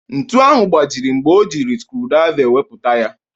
Ntu ahụ gbajiri mgbe o ji skrudraiva ewepụta ya.